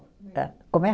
Como é?